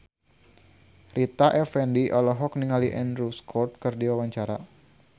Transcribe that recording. Rita Effendy olohok ningali Andrew Scott keur diwawancara